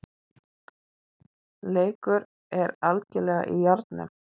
Leikur er algerlega í járnum